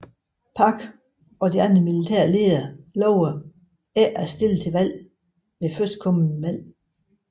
Park og de andre militære ledere lovede ikke at stille til valg ved førstkommende valg